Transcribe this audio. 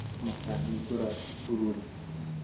Mũkahingũra cukuru rĩ?